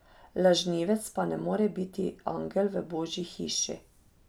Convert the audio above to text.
Lažnivec pa ne more biti angel v božji hiši.